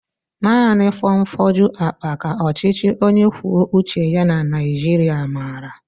Naanị fonfoju akpa ka ọchịchị onye kwuo uche ya na Naijiria maara